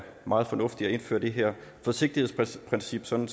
meget fornuftigt at indføre det her forsigtighedsprincip sådan